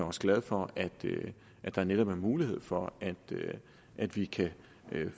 også glad for at der netop er mulighed for at vi kan